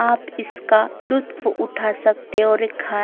आप इसका लुत्फ़ उठा सकते और एक खा--